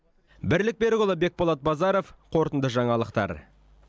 бірлік берікұлы бекболат базаров қорытынды жаңалықтар